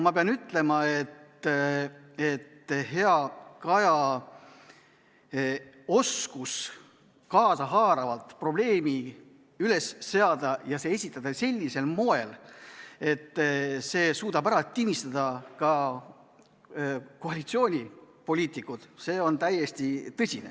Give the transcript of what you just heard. Ma pean ütlema, et heal Kajal on täiesti tõsine oskus kaasahaaravalt probleemi üles seada ja esitada see sellisel moel, et see suudab ära tinistada ka koalitsioonipoliitikud.